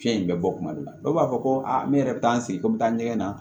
Fiɲɛ in bɛ bɔ kuma dɔ la dɔw b'a fɔ ko aa ne yɛrɛ bɛ taa n sigi ko n bɛ taa ɲɛgɛn na